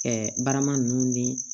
barama ninnu ni